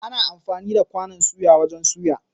Ana amfani da kwanon suya wajen suya.